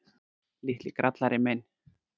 Litli grallarinn minn.